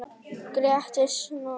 Gerist svona nokkuð oft?